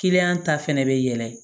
ta fɛnɛ bɛ yɛlɛ